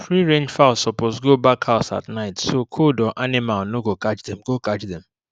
freerange fowl suppose go back house at night so cold or animal no go catch dem go catch dem